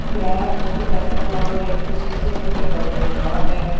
यह फोटो खींचने वाला व्यक्ति शीशे में दिखाई दे रहा है।